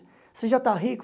Você já está rico?